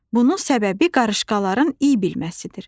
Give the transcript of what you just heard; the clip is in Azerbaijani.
Bunun səbəbi qarışqaların iy bilməsidir.